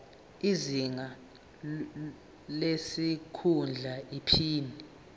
izinga lesikhundla iphini